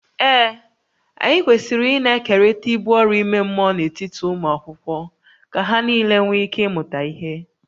Ee, anyị kwesịrị ịna-ekerịta ibu ọrụ ime mmụọ n’etiti ụmụ akwụkwọ ka ha nile nwee ike ịmụta ihe